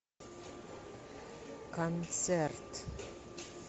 концерт